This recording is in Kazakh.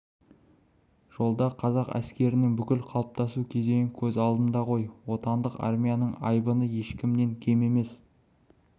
жолда қазақ әскерінің бүкіл қалыптасу кезеңі көз алдымда ғой отандық армияның айбыны ешкімнен кем емес